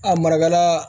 A marakalaa